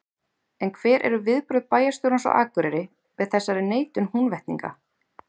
En hver eru viðbrögð bæjarstjórans á Akureyri við þessari neitun Húnvetninga?